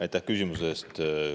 Aitäh küsimuse eest!